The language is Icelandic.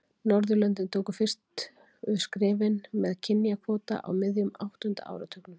norðurlöndin tóku fyrstu skrefin með kynjakvóta á miðjum áttunda áratugnum